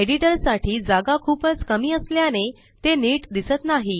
एडिटरसाठी जागा खूपच कमी असल्याने ते नीट दिसत नाही